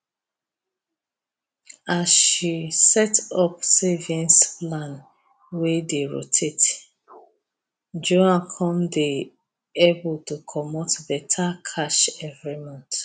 as she set up savings plan wey dey rotate juan con dey able to comot better cash every month